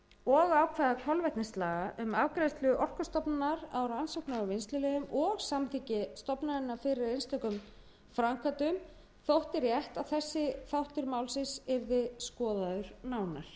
og ákvæðum kolvetnislaga um afgreiðslu orkustofnunar á rannsóknar og vinnsluleyfum og samþykki stofnunarinnar fyrir einstökum framkvæmdum þótti rétt að þessi þáttur málsins yrði skoðaður nánar